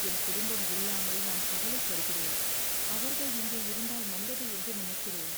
"என் குடும்பம் இல்லாமல் நான் கவலைப்படுகிறேன். அவர்கள் இங்கே இருந்தால் நல்லது என்று நினைக்கிறேன்."